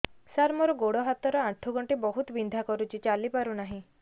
ସାର ମୋର ଗୋଡ ହାତ ର ଆଣ୍ଠୁ ଗଣ୍ଠି ବହୁତ ବିନ୍ଧା କରୁଛି ଚାଲି ପାରୁନାହିଁ